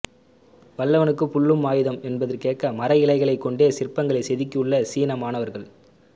வல்லவனுக்கு புல்லும் ஆயுதம் என்பதற்கேற்ப மர இலைகளை கொண்டே சிற்பங்களை செதுக்கியுள்ள சீன மாணவர்கள்